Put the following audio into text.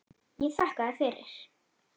Ég þakkaði fyrir.